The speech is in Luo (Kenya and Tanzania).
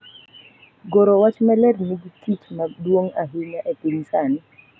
Goro wach maler nigi tich maduong’ ahinya e piny sani .